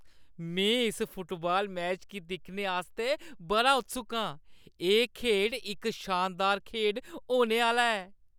में इस football match गी दिक्खने आस्तै बड़ा उत्सुक आं! एह् खेढ इक शानदार खेढ होने आह्‌ला ऐ।